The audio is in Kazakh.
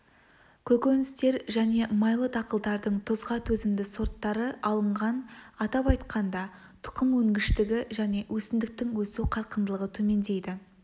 көкөністер және майлы дақылдардың тұзға төзімді сорттары алынған атап айтқанда тұқым өнгіштігі және өсімдіктің өсу қарқындылығы төмендейді